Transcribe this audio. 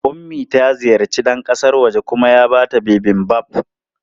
Ummi ta ziyarci ɗan kasan wajen kuma ya ba ta Bibimbap.